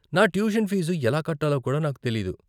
నా tuition fees ఎలా కట్టాలో కూడా నాకు తెలీదు.